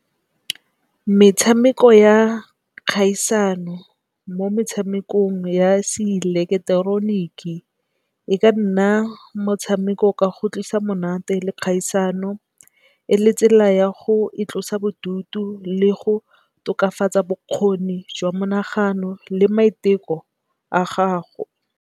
Metshameko ya kgaisano mo metshamekong ya se ileketeroniki, e ka nna motshameko ka go tlisa monate le kgaisano. E le tsela ya go itlosa bodutu le go tokafatsa bokgoni jwa monagano le maiteko a gago.